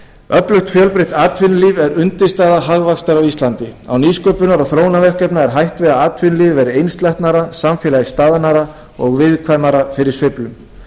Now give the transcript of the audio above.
öflugt og fjölbreytt atvinnulíf er undirstaða hagvaxtar á íslandi á nýsköpunar og þróunarverkefnum er hætt við að atvinnulífið verði einsleitara samfélagið staðnaðra og viðkvæmara fyrir sveiflum